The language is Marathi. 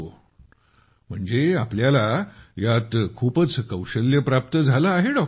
ओह म्हणजे आपल्याला यात खूपच कौशल्य प्राप्त झालं आहे